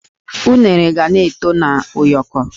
Unere ga-eto na ụyọkọ